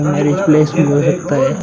यहां में रिप्लेस भी होय होते।